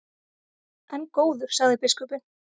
En góður, sagði biskupinn.